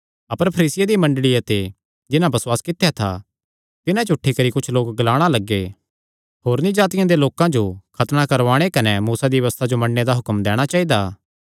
अपर फरीसियां दी मंडल़िया ते जिन्हां बसुआस कित्या था तिन्हां च कुच्छ लोक उठी करी ग्लाणा लग्गे होरनी जातिआं दे लोकां जो खतणा करवाणे कने मूसा दी व्यबस्था जो मन्नणे दा हुक्म दैणा चाइदा